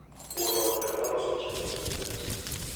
Wuon ot ema loso chenro mag nyasi,